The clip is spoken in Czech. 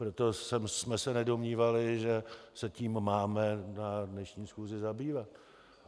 Proto jsme se nedomnívali, že se tím máme na dnešní schůzi zabývat.